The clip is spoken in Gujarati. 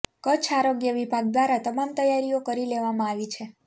ક્ચ્છ આરોગ્ય વિભાગ દ્વારા તમામ તૈયારીઓ કરી લેવામાં આવી છે